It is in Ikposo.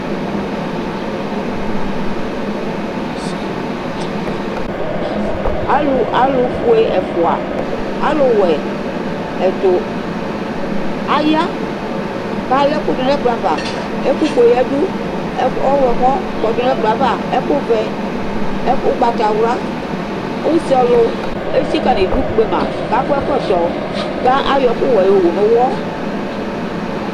alofue ɛfua alo wɛ ɛto aya k'ala ɛkò do n'ɛkplɔ ava ɛkò fue yadu ɔwlɔmɔ kɔdu n'ɛkplɔɛ ava ɛkò vɛ ugbatawla use ɔlu etsika n'idu kpema k'akɔ ɛkɔtɔ k'ayɔ ɛkò wɛ yowu no uwɔ